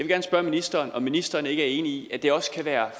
gerne spørge ministeren om ministeren ikke er enig i at det også kunne være